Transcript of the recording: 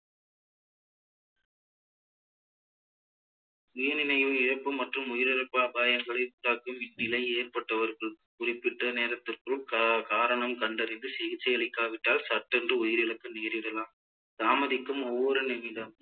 சுயநினைவு இழப்பு மற்றும் உயிரிழப்பு அபாயங்களை உண்டாக்கும் இந்நிலை ஏற்பட்டவர்கள் குறிப்பிட்ட நேரத்திற்குள் கா~ காரணம் கண்டறிந்து சிகிச்சை அளிக்காவிட்டால் சட்டென்று உயிரிழக்க நேரிடலாம் தாமதிக்கும் ஒவ்வொரு நிமிடமும்